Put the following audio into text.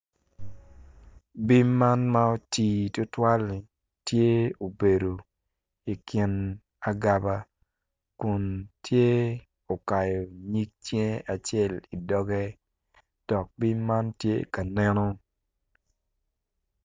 Bim man ma oti tutwali tye obedo ikin agaba kun tye okayo nyig cinge acel idoge dok bim man tye ka neno